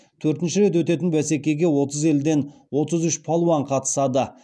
төртінші рет өтетін бәсекеге отыз елден отыз үш палуан қатысады